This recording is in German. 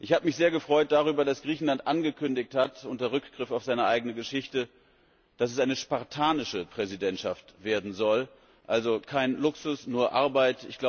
Ich habe mich sehr darüber gefreut, dass Griechenland angekündigt hat unter Rückgriff auf seine eigene Geschichte dass es eine spartanische Präsidentschaft werden soll, also kein Luxus, nur Arbeit.